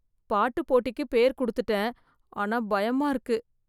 பாட்டு போட்டிக்கு பேர் கொடுத்துட்டேன் ஆனா பயமா இருக்கு